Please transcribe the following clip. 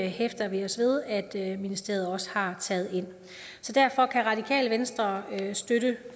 hæfter vi os ved at at ministeriet også har taget ind så derfor kan radikale venstre støtte